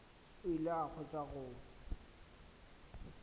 o ile a hwetša go